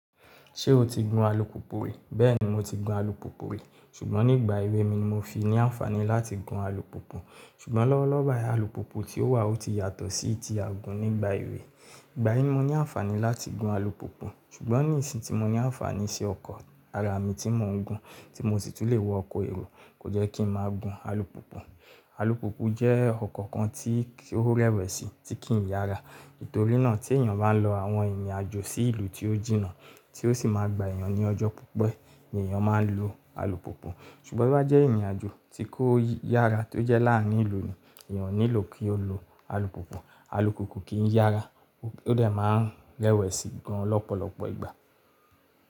Ṣé o ti gun alùpùpù rí? Bẹ́ẹ̀ni mo ti gun alùpùpù rí, ṣùgbọ́n nígbà èwe mi ni mo fi ní àǹfàní láti gun alùpùpù. Ṣùgbọ́n lọ́wọ́lọ́wọ́ báyìí alùpùpù tí ó wà o ti yàtọ̀ sí ti a gun nígbà èwe. Ìgbà yẹn mo ní àǹfàní láti gun alùpùpù, ṣùgbọ́n ní ìsìn tí mo ní àǹfàní sí ọkọ̀ ara mi tí mò ń gun tí mo sì tún lè wọ ọkọ̀ èrò, kò jẹ́ kí ń má gun alùpùpù. Alùpùpù jẹ́ ọkọ̀ kan tí ó rẹwẹ̀sì tí kì ń yára. Nítorí náà tí èèyàn bá lọ àwọn ìrìnàjò sí ìlú tí ó jìnnà tí ó sì máa gbà èèyàn ní ọjọ́ púpọ̀ ni èèyàn máa ń lo alùpùpù. Ṣùgbọ́n bí ó jẹ́ ìrìnàjò tí kò yára tó jẹ́ láàárín ìlú ni èèyàn ò nílò kí ó lo alùpùpù. Alùpùpù kì ń yára ó dẹ̀ máa ń rẹwẹ̀sì gan lọ́pọ̀lọpọ̀ ìgbà.